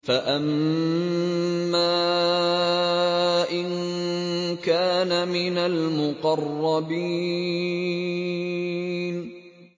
فَأَمَّا إِن كَانَ مِنَ الْمُقَرَّبِينَ